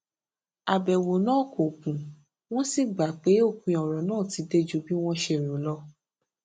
àbèwò náà kò gùn wón sì gbà pé òpin òrò náà ti dé ju bí wón ṣe rò lọ